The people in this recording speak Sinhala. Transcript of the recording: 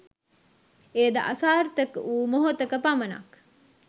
එය ද අසාර්ථක වූ මොහොතක පමණක්